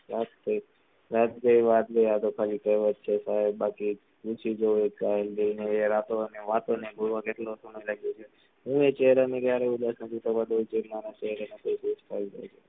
રાત ગયી, વાત ગયી આતો ખાલી કહેવત છે સાહેબ બાકી, પૂછી જુવો એ ગાંડી ને રાતો અને વાતો ને ભૂલવા કેટલો સમય લાગ્યો છે. હું એ ચેહેરા ક્યારે ભૂલી શકતો નથી. જે મારા દિલ થી દૂર થયી ગયી